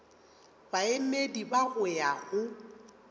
baemedi ba go ya go